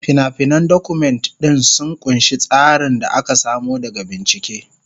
Fina-finan Document ɗin sun ƙunshi tsarin da aka samo daga bincike.